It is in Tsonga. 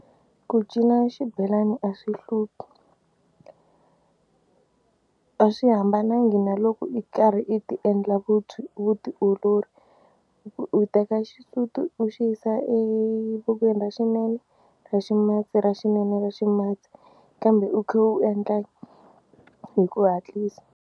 Ku cina xibelani a swi hluphi a swi hambanangi na loko i karhi i ti-endla vutiolori u teka xisuti u xi yisa evokweni ra xinene ra ximatsi ra xinene ra ximatsi kambe u kha u endla hi ku hatlisa.